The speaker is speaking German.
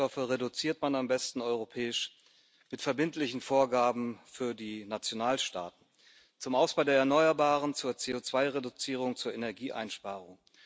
Schadstoffe reduziert man am besten europäisch mit verbindlichen Vorgaben für die Nationalstaaten zum Ausbau der Erneuerbaren, zur CO2 Reduzierung, zur Energieeinsparung.